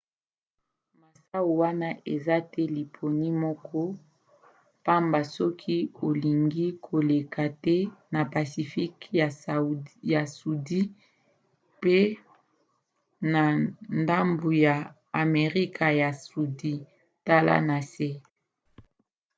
masuwa wana eza te liponi moko pamba soki olingi koleka te na pacifique ya sudi mpe na ndambu ya amerika ya sudi. tala na se